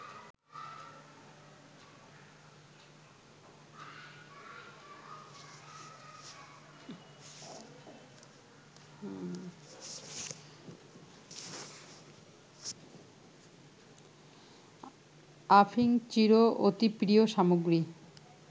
আফিংচির অতি প্রিয় সামগ্রী